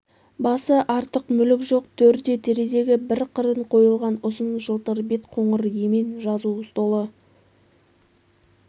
басы артық мүлік жоқ төрде терезеге бір қырын қойылған ұзын жылтыр бет қоңыр емен жазу столы